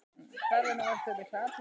Hvarvetna vöktu þeir mikla athygli.